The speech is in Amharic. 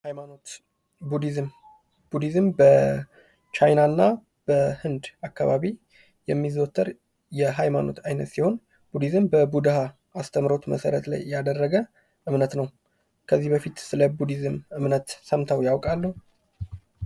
ሀይማኖት ፦ ቡዲዝም ፦ ቡዲዝም በቻይና እና በህንድ አካባቢ የሚዘወትር የሃይማኖት አይነት ሲሆን ቡዲዝም በቡድሃ አስተምሮት ላይ መሰረት ያደረገ እምነት ነው ። ከዚህ በፊት ስለ ቡዲዝም እምነት ሰምተው ያውቃሉ ?